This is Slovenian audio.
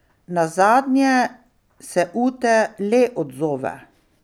Nazadnje se Ute le odzove.